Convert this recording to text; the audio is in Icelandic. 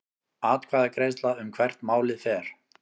Atkvæðagreiðsla um hvert málið fer